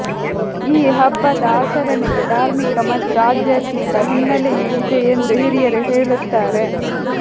ಈ ಹಬ್ಬದ ಆಚರಣೆಗೆ ಧಾರ್ಮಿಕ ಮತ್ತು ಆಧ್ಯಾತ್ಮಿಕ ಹಿನ್ನಲೆಯೂ ಇದೆ ಎಂದು ಹಿರಿಯರು ಹೇಳುತ್ತಾರೆ